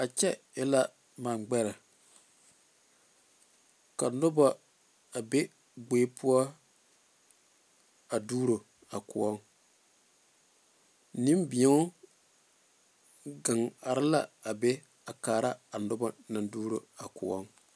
A kyɛ e la manegbɛre ka noba be kpoore poɔ a duuro a kõɔ nembeɛŋ are a noba naŋ duuro a kõɔ.